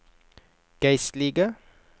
geistlige